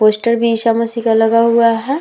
Poster भी ईसामसीह का लगा हुआ है।